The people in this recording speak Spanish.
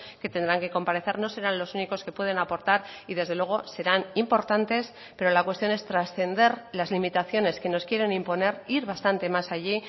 que tendrán que comparecer no serán los únicos que pueden aportar y desde luego serán importantes pero la cuestión es trascender las limitaciones que nos quieren imponer ir bastante más allí